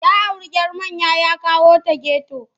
Ya auri 'yar manya ya kawo ta geto.